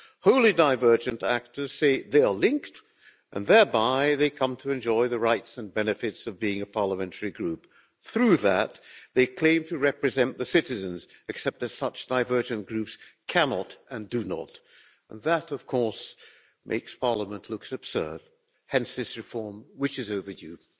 Wholly divergent actors say they are linked and, thereby, they come to enjoy the rights and benefits of being a parliamentary group. Through that, they claim to represent the citizens, except as such divergent groups, they cannot and do not and that, of course, makes Parliament looks absurd hence this reform, which is overdue.